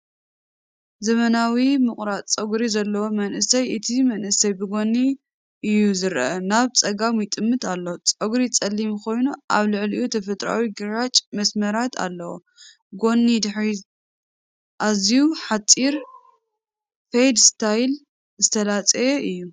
ዘመናዊ ምቑራጽ ጸጉሪ ዘለዎ መንእሰይ። እቲ መንእሰይ ብጎኒ እዩ ዝረአ፤ ናብ ጸጋም ይጥምት ኣሎ። ጸጉሩ ጸሊም ኮይኑ ኣብ ልዕሊኡ ተፈጥሮኣዊ ግራጭ መስመራት ኣለዎ። ጎኒን ድሕሪትን ኣዝዩ ሓጺር (Fade style) ዝተላጽየ እዩ።